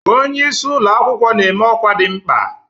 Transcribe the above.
Onye isi ụlọ akwụkwọ na-eme ọkwa dị mkpa.